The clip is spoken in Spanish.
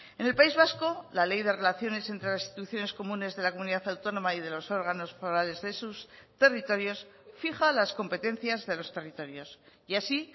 en el país vasco la ley de relaciones entre las instituciones comunes de la comunidad autónoma y de los órganos forales de sus territorios fija las competencias de los territorios y así